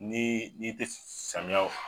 Ni i tɛ samiyaw